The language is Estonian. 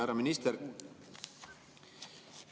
Härra minister!